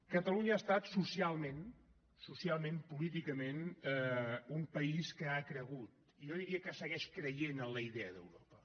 catalunya ha estat socialment socialment políticament un país que ha cregut i jo diria que segueix creient en la idea d’europa